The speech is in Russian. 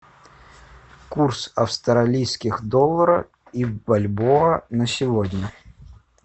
курс австралийских доллара и бальбоа на сегодня